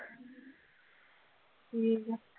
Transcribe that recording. ਠੀਕ ਆ